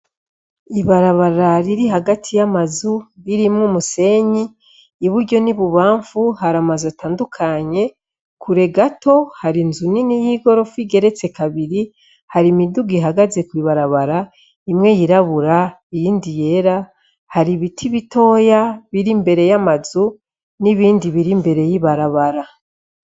Ibarabara riri hagati y’amazu, ririmw’umusenyi, iburyo n’ibubanfu har’amazu atandukanye, kure gato har’inzu nini y’igorofa igeretse kabiri, har’imiduga ihagaze kw’ibarabara, imwe yirabura, iyindi yera, har’ibiti bitoya bir’imbere y’amazu, n’ibindi bir’imbere y’ibarabara.